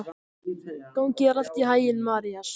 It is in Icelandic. Gangi þér allt í haginn, Marías.